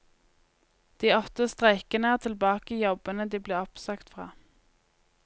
De åtte streikende er tilbake i jobbene de ble oppsagt fra.